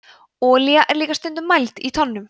olía er líka stundum mæld í tonnum